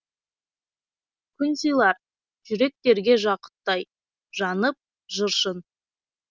күн сыйлар жүректерге жақұттай жанып жыр шын